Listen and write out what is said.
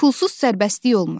Pulsuz sərbəstlik olmur.